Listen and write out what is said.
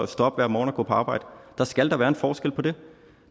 stå op hver morgen og gå på arbejde der skal da være en forskel på det